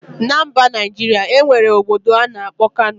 Na mba Najiria, enwere obodo ana akpo Kano.